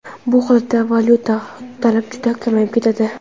Bu holatda valyutaga talab juda kamayib ketadi.